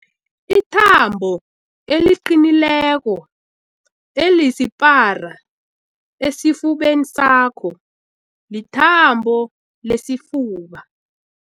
Ithambo eliqinileko elisipara esifubeni sakho lithambo lesifuba.